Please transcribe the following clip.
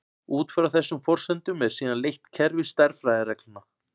Út frá þessum forsendum er síðan leitt kerfi stærðfræðireglna.